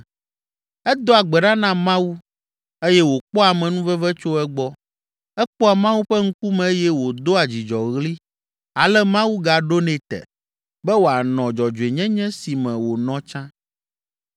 Edoa gbe ɖa na Mawu eye wòkpɔa amenuveve tso egbɔ, ekpɔa Mawu ƒe ŋkume eye wòdoa dzidzɔɣli, ale Mawu gaɖonɛ te, be wòanɔ dzɔdzɔenyenye si me wònɔ tsã.